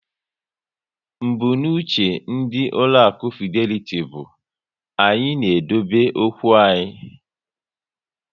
Mbunuche ndị ụlọaku Fideliti bụ "Anyị na-edobe okwu anyị"